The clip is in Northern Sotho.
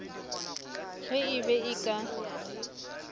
ge e be e ka